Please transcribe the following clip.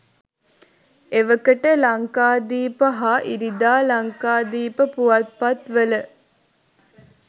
එවකට ලංකාදීප හා ඉරිදා ලංකාදීප පුවත්පත්වල